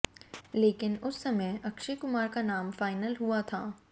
लेकिन उस समय अक्षय कुमार का नाम फाइनल हुआ था